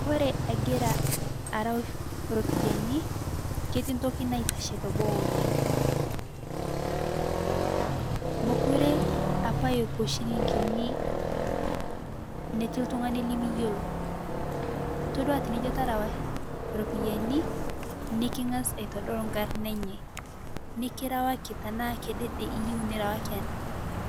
Kore agira arau ropiyanii ketii ntoki naitashe teboo oleng mokure apaa epuo shilinginii neti ltung'ani limiyoloo itodua tinijoo terewaa ropiyanii niking'az aitodol nkarnaa enyee nikirawakii tanaa kedede iyeu nirawakii